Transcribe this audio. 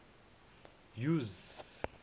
use